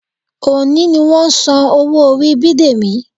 Òní ni wọ́n san owó orí Bidemi